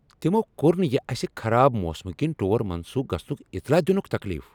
تمو کوٚر نہٕ یہ اسہ خراب موسمہٕ کِنۍ ٹور منسوخ گژھنُک اطلاع دِنُك تكلیف ۔